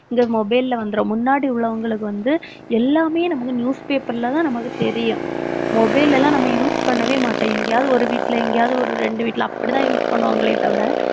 இந்த mobile ல வந்துரும். முன்னாடி உள்ளவங்களுக்கு வந்து எல்லாமே நமக்கு news paper லதான் நமக்கு தெரியும். mobile ல எல்லாம் நம்ம use பண்ணவே மாட்டோம். எங்கயாவது ஒரு வீட்டுல எங்கயாவது ஒரு இரண்டு வீட்டுல அப்படித்தான் use பண்ணுவாங்களே தவிர